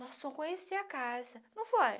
Nós fomos conhecer a casa, não foi?